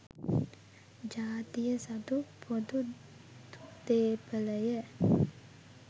ජාතිය සතු පොදු දේපලය.